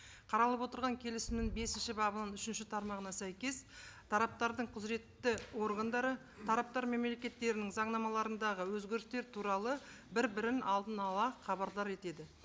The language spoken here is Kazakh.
қаралып отырған келісімнің бесінші бабының үшінші тармағына сәйкес тараптардың құзыретті органдары тараптар мемлекеттерінің заңнамаларындағы өзгерістер туралы бір бірін алдын ала хабардар етеді